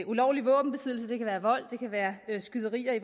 ulovlig våbenbesiddelse det kan være vold eller skyderier i